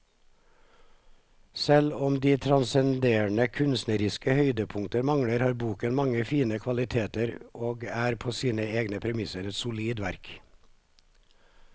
Selv om de transcenderende kunstneriske høydepunktene mangler, har boken mange fine kvaliteter og er på sine egne premisser et solid verk.